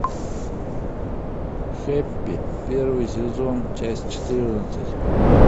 хэппи первый сезон часть четырнадцать